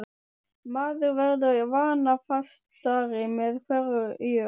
Maður verður vanafastari með hverju árinu.